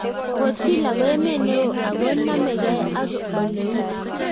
Port Vila ko emet neo ago namegei ak oleuu